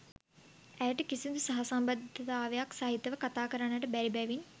ඇයට කිසිදු සහසම්බන්ධතාවක් සහිතව කතාකරන්නට බැරි බැවින්